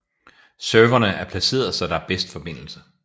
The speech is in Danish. Serverne er placeret så der er bedst forbindelse